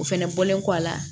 O fɛnɛ bɔlen kɔ a la